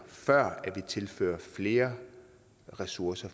før vi tilfører flere ressourcer